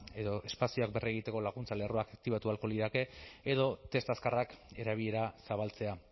edo espazioak berregiteko laguntza lerroak aktibatu ahalko lirateke edo test azkarrak erabilera zabaltzea